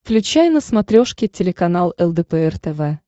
включай на смотрешке телеканал лдпр тв